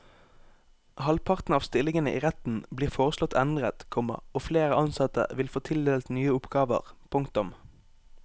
Halvparten av stillingene i retten blir foreslått endret, komma og flere ansatte vil få tildelt nye oppgaver. punktum